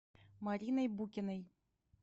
мариной букиной